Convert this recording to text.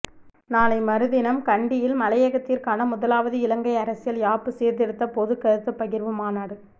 நாளை மறுதினம் கண்டியில் மலையகத்திற்கான முதலாவது இலங்கைஅரசியல் யாப்பு சீர்த்திருத்த பொதுக்கருத்துப்பகிர்வு மாநாடு